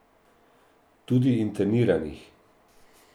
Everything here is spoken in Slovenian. Tudi interniranih.